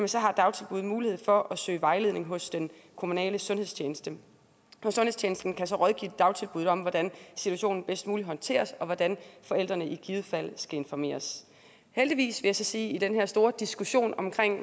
så har dagtilbuddet mulighed for at søge vejledning hos den kommunale sundhedstjeneste sundhedstjenesten kan så rådgive dagtilbuddet om hvordan situationen bedst muligt håndteres og hvordan forældrene i givet fald skal informeres heldigvis vil jeg så sige i den her store diskussion om